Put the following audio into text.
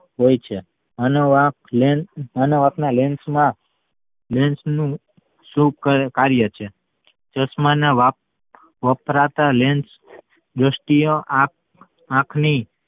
હોઈ છે અને lens અને આપણા lens માં lens નું શું કર કાર્ય છે ચશ્મા માં વપરાતા lens દ્રષ્ટિ ઓ આંખ આંખની